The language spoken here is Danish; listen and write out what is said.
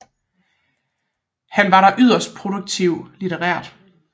Han var der yderst produktiv litterært